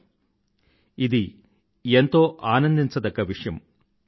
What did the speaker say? తెలుసా ఇది ఎంతో ఆనందించదగ్గ విషయం